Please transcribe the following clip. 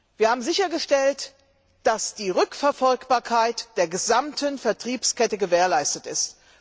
Wir haben sichergestellt, dass die Rückverfolgbarkeit der gesamten Vertriebskette gewährleistet ist.